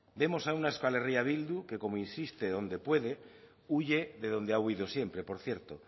vemos a una euskal herria bildu que como insiste donde puede huye de dónde ha huido siempre por cierto